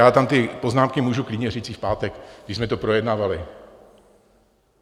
Já tam ty poznámky můžu klidně říct i v pátek, když jsme to projednávali.